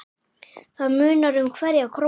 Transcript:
Það munar um hverja krónu.